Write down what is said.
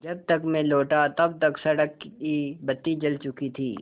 जब तक मैं लौटा तब तक सड़क की बत्ती जल चुकी थी